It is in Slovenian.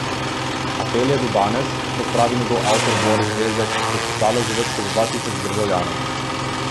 Apel je do danes, kot pravi njegov avtor Boris Vezjak, podpisalo že več kot dva tisoč državljanov.